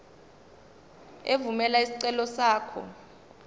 evumela isicelo sakho